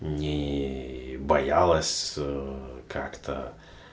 не боялась как-то